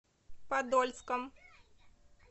подольском